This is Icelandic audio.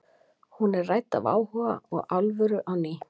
hún er nú rædd af áhuga og alvöru á ný